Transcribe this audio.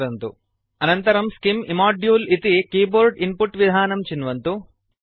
अनन्तरं scim इम्मोदुले स्किम् इमोड्यूल् इति कीबोर्ड इन्पुट् विधानं चिन्वन्तु